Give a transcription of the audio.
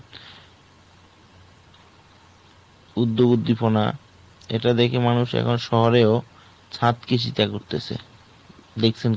উদ্যোগ উদ্দীপনা এটা দেখে মানুষ এখন শহরেও ছাদ কৃষিতে করতেছে। দেখছেন কী ?